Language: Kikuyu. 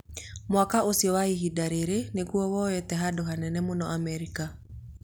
Mwako ũcio kwa ihinda rĩrĩ nĩguo woete handũ hanene mũno Amerika